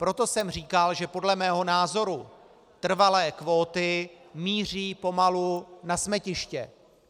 Proto jsem říkal, že podle mého názoru trvalé kvóty míří pomalu na smetiště.